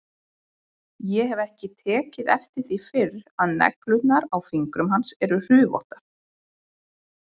Ég hef ekki tekið eftir því fyrr að neglurnar á fingrum hans eru hrufóttar.